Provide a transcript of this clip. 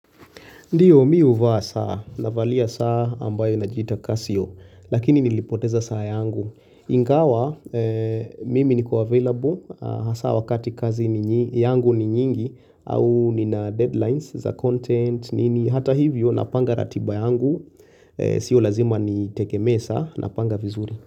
Ndiyo mi uvaa saa na valia saa ambayo inajita kasio lakini nilipoteza saa yangu ingawa. Mimi niko available hasa wakati kazi yangu ni nyingi. Au nina deadlines za content nini hata hivyo napanga ratiba yangu. Sio lazima niteke mesa napanga vizuri.